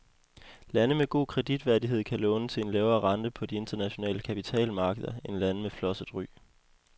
Lande med god kreditværdighed kan låne til en lavere rente på de internationale kapitalmarkeder end lande med flosset ry.